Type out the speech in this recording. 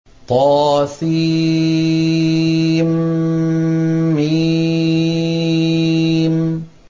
طسم